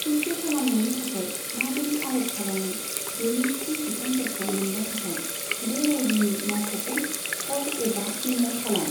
खौसे खालामनायनि थाखाय माबोरै आर'ज खालामो बेनि थि बिथोनफोरखौ मोननो थाखाय बे रायजोनि मावख'खौ कल एबा इमेल खालाम।